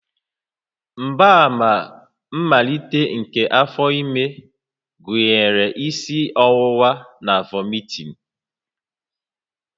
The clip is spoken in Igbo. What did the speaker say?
Mgbaàmà mmalite nke afọ ime gụnyere isi ọwụwa na vomiting